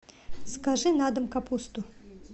закажи на дом капусту